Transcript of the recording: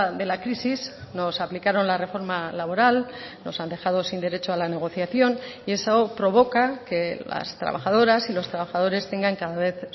de la crisis nos aplicaron la reforma laboral nos han dejado sin derecho a la negociación y eso provoca que las trabajadoras y los trabajadores tengan cada vez